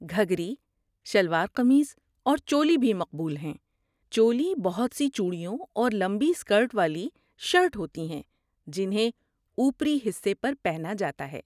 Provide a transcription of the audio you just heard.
گھگھری، شلوار قمیض اور چولی بھی مقبول ہیں۔ چولی بہت سی چوڑیوں اور لمبی اسکرٹ والی شرٹ ہوتی ہیں جنہیں اوپری حصے پر پہنا جاتا ہے۔